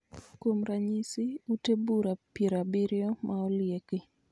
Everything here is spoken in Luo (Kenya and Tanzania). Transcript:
Kuom ranyisi, ute bura piero abiroyo ma olieki